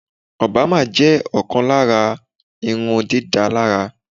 Obama jẹ́ kán lára àwọn irun dídá lára